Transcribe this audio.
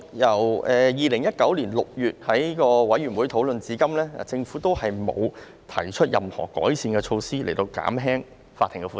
由2019年6月的委員會討論至今，政府一直沒有提出任何改善措施來減輕法庭的負擔。